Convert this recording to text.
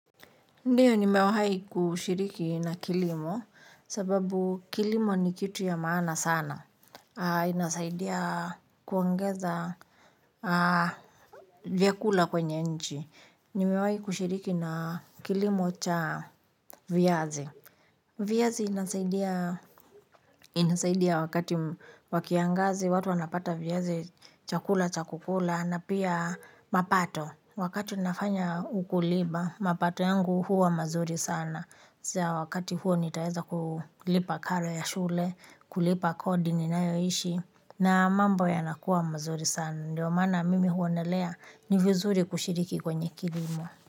Ndiyo nimewahai kushiriki na kilimo sababu kilimo ni kitu ya maana sana. Inasaidia kuongeza vyakula kwenye nchi. Nimewai kushiriki na kilimo cha viazi. Viazi inasaidia wakati wa kiangazi watu wanapata viazi chakula cha kukula na pia mapato. Wakati nafanya ukulima mapato yangu huwa mazuri sana. Wakati huo nitaweza kulipa karo ya shule, kulipa kodi ninayoishi, na mambo yanakuwa mazuri sana. Ndiyo mana mimi huonelea ni vizuri kushiriki kwenye kilimo.